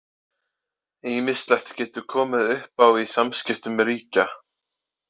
Ýmislegt getur komið upp á í samskiptum ríkja.